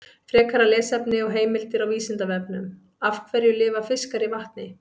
Frekara lesefni og heimildir á Vísindavefnum: Af hverju lifa fiskar í vatni?